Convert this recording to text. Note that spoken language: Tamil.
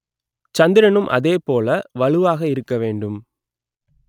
சந்திரனும் அதேபோல வலுவாக இருக்க வேண்டும்